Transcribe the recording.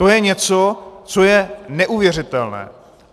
To je něco, co je neuvěřitelné!